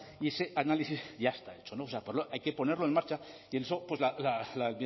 y ese análisis ya está hecho hay que ponerlo en marcha por eso la